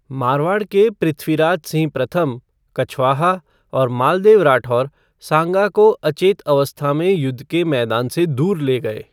मारवाड़ के पृथ्वीराज सिंह प्रथम कछवाहा और मालदेव राठौर सांगा को अचेत अवस्था में युद्ध के मैदान से दूर ले गए।